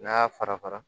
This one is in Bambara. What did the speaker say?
N'a y'a fara fara